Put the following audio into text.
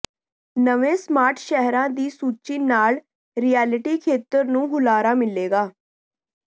ਨਵੇਂ ਸਮਾਰਟ ਸ਼ਹਿਰਾਂ ਦੀ ਸੂਚੀ ਨਾਲ ਰਿਐਲਿਟੀ ਖੇਤਰ ਨੂੰ ਹੁਲਾਰਾ ਮਿਲੇਗਾ